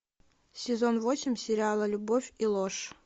сезон восемь сериала любовь и ложь